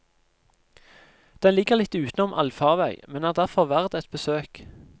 Den ligger litt utenom allfarvei, men er derfor verd et besøk.